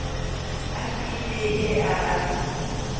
S I D E R S